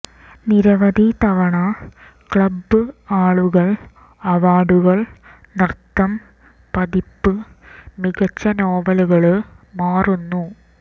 നിരവധി തവണ ക്ലബ്ബ് ആളുകൾ അവാർഡുകൾ നൃത്തം പതിപ്പ് മികച്ച നോവലുകള് മാറുന്നു